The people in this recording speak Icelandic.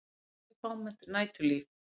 Óvenju fámennt næturlíf